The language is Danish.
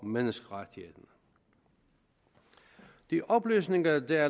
og menneskerettighederne de oplysninger der er